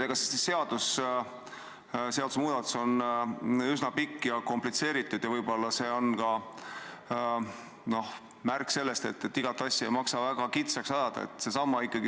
Tõepoolest, see seadusemuudatus on üsna pikk ja komplitseeritud ja võib-olla on see ka märk sellest, et igat asja ei maksa väga kitsaks ajada.